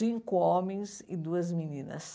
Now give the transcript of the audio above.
Cinco homens e duas meninas.